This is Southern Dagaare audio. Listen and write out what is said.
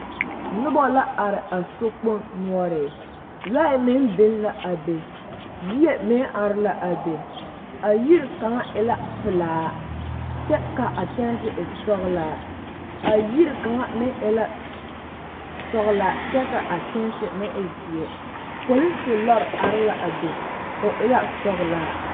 Nobɔ la are a sokpoŋ noɔre lɔɛ neŋ biŋ la a be yie meŋ are la a be a yiri kaŋa e la pelaa kyɛ ka saazu e sɔglaa a yiri kaŋa meŋ la sɔglaa kyɛ kaa a kyɛnse meŋ e zeɛ polise lɔre are la a be o e la sɔglaa.